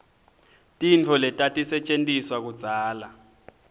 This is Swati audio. tintfo letatisetjentiswa kudzala